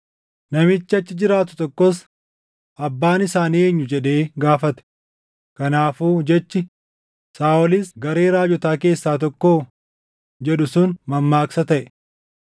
Namichi achi jiraatu tokkos, “Abbaan isaanii eenyu?” jedhee gaafate. Kanaafuu jechi, “Saaʼolis garee raajotaa keessaa tokkoo?” jedhu sun mammaaksa taʼe.